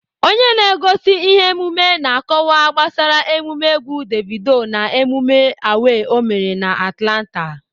Onye na-egosi ihe omume na- akọwa gbasara emume egwu Davido na emume A.W.A.Y ọ mere na Atlanta.